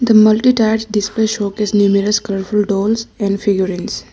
the multi display showcase numourous dolls and figurines.